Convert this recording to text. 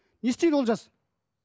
не істейді олжас